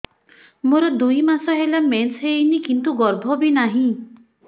ମୋର ଦୁଇ ମାସ ହେଲା ମେନ୍ସ ହେଇନି କିନ୍ତୁ ଗର୍ଭ ବି ନାହିଁ